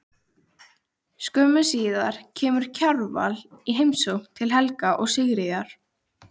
Skömmu síðar kemur Kjarval í heimsókn til Helga og Sigríðar.